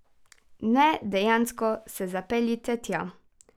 Ne, dejansko se zapeljite tja!